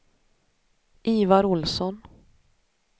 Ivar Ohlsson